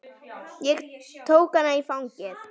Ég tók hana í fangið.